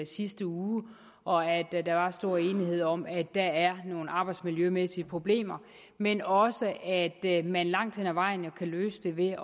sidste uge og at der var stor enighed om at der er nogle arbejdsmiljømæssige problemer men også at man langt hen ad vejen jo kan løse dem ved